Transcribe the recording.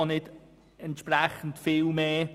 Auch kostet es nicht viel mehr.